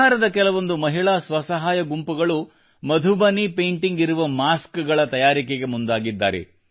ಬಿಹಾರದ ಕೆಲವೊಂದು ಮಹಿಳಾ ಸ್ವಸಹಾಯ ಗುಂಪುಗಳು ಮಧುಬನಿ ಪೇಂಟಿಂಗ್ ಇರುವ ಮಾಸ್ಕಗಳ ತಯಾರಿಕೆಗೆ ಮುಂದಾಗಿದ್ದಾರೆ